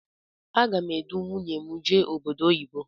Agá m edu nwunye m jee obodo oyibo.